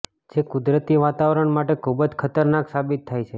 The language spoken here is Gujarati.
જે કુદરતી વાતાવરણ માટે ખુબ જ ખતરનાક સાબિત થાય છે